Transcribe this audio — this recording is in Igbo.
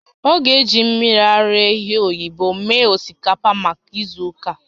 Ọ ga-eji mmiri ara ehi oyibo mee osikapa maka izu ụka